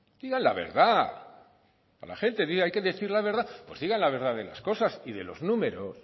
digan la verdad a la gente hay que decir la verdad pues digan la verdad de las cosas y de los números